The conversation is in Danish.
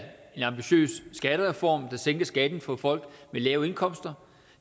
en ambitiøs skattereform der sænker skatten for folk med lave indkomster